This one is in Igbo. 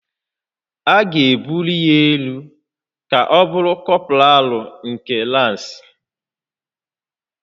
A ga-ebuli ya elu ka ọ bụrụ kọpralụ nke lansị